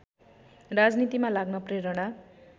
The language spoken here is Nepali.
राजनीतिमा लाग्न प्रेरणा